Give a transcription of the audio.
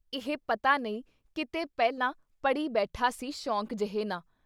ਇਹ ਪਤਾ ਨਹੀਂ ਕਿਤੇ ਪਹਿਲਾਂ ਪੜ੍ਹੀ ਬੈਠਾ ਸੀ ਸ਼ੌਂਕ ਜਿਹੇ ਨਾ।'